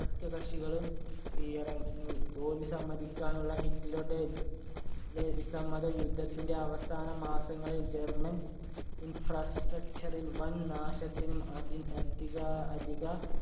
സഖ്യകക്ഷികളും കീഴടക്കി. തോൽവി സമ്മതിക്കാനുള്ള ഹിറ്റ്‌ലറുടെ വിസമ്മതം യുദ്ധത്തിന്‍റെ അവസാനമാസങ്ങളിൽ ജർമ്മൻ infrastructure ഇല്‍ വൻനാശത്തിനും അധിക അധിക അധിക